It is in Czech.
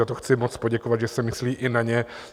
Za to chci moc poděkovat, že se myslí i na ně.